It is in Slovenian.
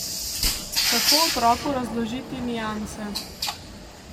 Kako otroku razložiti nianse?